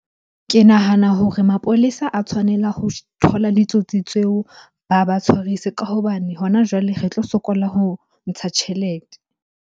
Ke nahana hore mapolesa a tshwanela ho thola ditsotsi tseo ba ba tshwarise. Ka hobane hona jwale re tlo sokola ho ntsha tjhelete.